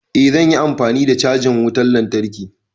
Eh zan yi amfani da cajan wutan lantarki.